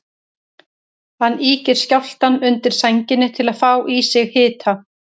Hann ýkir skjálftann undir sænginni til að fá í sig hita.